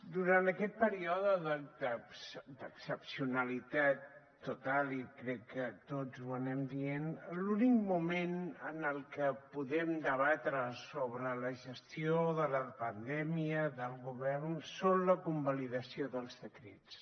durant aquest període d’excepcionalitat total i crec que tots ho anem dient l’únic moment en el que podem debatre sobre la gestió de la pandèmia del govern és la convalidació dels decrets